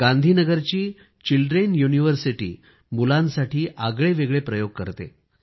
गांधीनगरची children university मुलांसाठी आगळेवेगळे प्रयोग करते